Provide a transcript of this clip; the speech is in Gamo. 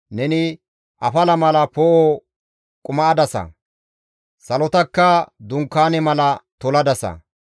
Neni afala mala poo7o quma7adasa; salotakka dunkaane mala toladasa.